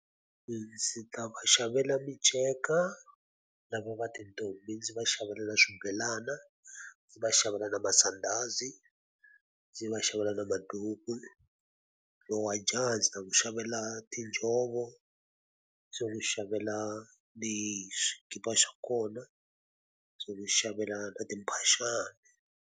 Ndzi ta va xavela miceka, lava va tintombi ndzi va xavela na swibelana, ndzi va xavela na masandhazi, ndzi va xavela na maduku. Lowa jaha ndzi ta n'wi xavela tinjhovo, ndzi n'wi xavela ni xikipa xa kona, ndzi n'wi xavela na timphaxani.